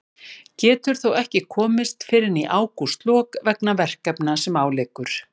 Getur þó ekki komist fyrr en í ágústlok vegna verkefna sem á liggur.